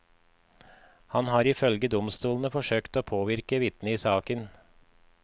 Han har ifølge domstolen forsøkt å påvirke vitner i saken.